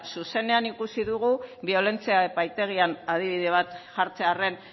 zuzenean ikusi dugu biolentzia epaitegian adibide bat jartzearren